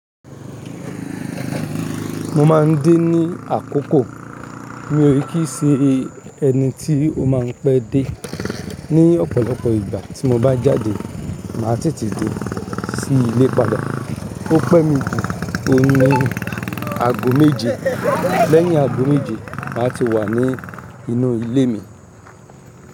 Mo máa ń dé ní àkókò. Mi ò rí kí í ṣe ẹni tí ó máa ń pẹ́ dé. Ni ọ̀pọ̀lọpọ̀ ìgbà tí mo bá jáde, màá tètè dé sí ilé padà. Ọpẹ́ mi ju ohun nìí ní ago méje. Lẹ́yin ago méje, màá ti wà ní inú ilé mi.